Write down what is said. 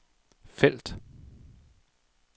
felt